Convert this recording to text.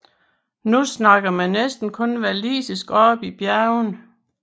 Nu taler man næsten kun walisisk oppe i bjergene